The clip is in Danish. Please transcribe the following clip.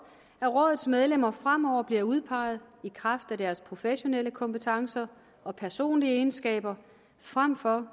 at rådets medlemmer fremover bliver udpeget i kraft af deres professionelle kompetencer og personlige egenskaber frem for